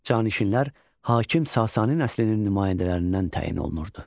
Canişinlər hakim Sasani nəslinin nümayəndələrindən təyin olunurdu.